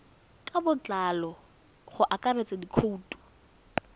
ka botlalo go akaretsa dikhoutu